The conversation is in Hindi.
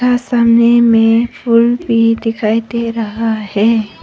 और सामने में फूल दिखाई दे रहा है।